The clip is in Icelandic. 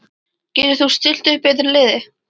Getur þú stillt upp betra liði?